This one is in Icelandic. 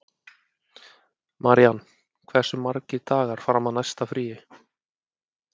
Marían, hversu margir dagar fram að næsta fríi?